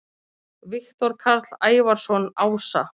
Viktor Karl Ævarsson ása